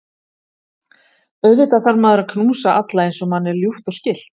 Auðvitað þarf maður að knúsa alla eins og manni er ljúft og skylt.